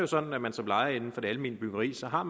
sådan at man som lejer inden for det almene byggeri ikke har